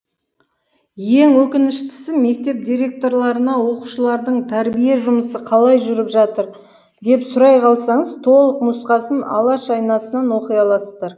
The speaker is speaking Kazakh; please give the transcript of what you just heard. ең өкініштісі мектеп директорларына оқушылардың тәрбие жұмысы қалай жүріп жатыр деп сұрай қалсаңыз толық нұсқасын алаш айнасынан оқи аласыздар